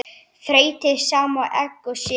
Þeytið saman egg og sykur.